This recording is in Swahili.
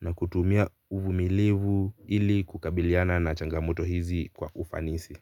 na kutumia uvumilivu ili kukabiliana na changamoto hizi kwa ufanisi.